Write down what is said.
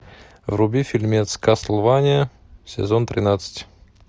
вруби фильмец кастлвания сезон тринадцать